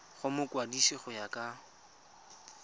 go mokwadise go ya ka